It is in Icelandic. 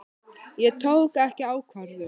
Ég tók ekki ákvörðun.